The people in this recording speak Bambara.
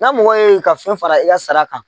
N'a mɔgɔ ye ka fɛn fara i ya sara kan.